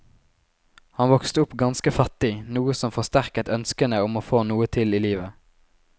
Han vokste opp ganske fattig, noe som forsterket ønskene om å få noe til i livet.